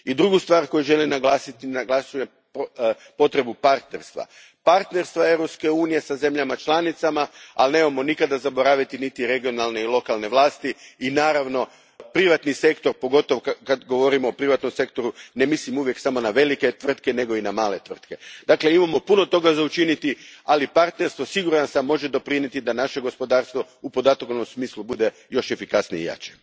Druga stvar koju želim naglasiti je potreba partnerstva, partnerstva Europske unije sa zemljama članicama, ali nemojmo nikad zaboraviti niti regionalne i lokalne vlasti i naravno privatni sektor, a kada govorimo o privatnom sektoru ne mislim uvijek samo na velike tvrtke nego i na male tvrtke. Dakle imamo puno toga za učiniti, a partnerstvo, siguran sam, može doprinijeti da naše gospodarstvo u podatkovnom smislu bude još efikasnije i jače.